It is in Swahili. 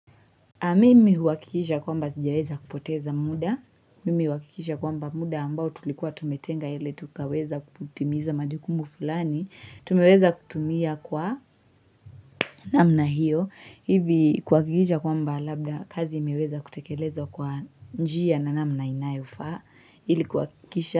Mimi huhakikisha kwamba sijaweza kupoteza muda. Mimi huhakikisha kwamba muda ambao tulikuwa tumetenga ili tukaweza kutimiza majukumu fulani. Tumeweza kutumia kwa namna hiyo. Hivi kuhakisha kwamba labda kazi imeweza kutekelezwa kwa njia na namna inayofaa. Ili kuhakikisha.